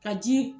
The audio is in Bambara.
Ka ji